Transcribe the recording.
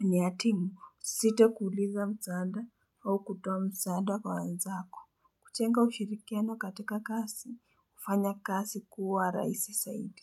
ni ya timu, sito kuuliza msaada au kutoa msaada kwa wenzako. Kuchenga ushirikiano katika kasi, hufanya kasi kuwa raisi saidi.